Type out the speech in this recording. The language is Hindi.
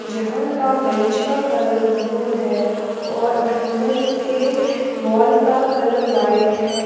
जहां का बेंच का कलर ब्लू है और अंदर के वोल का कलर वाइट है।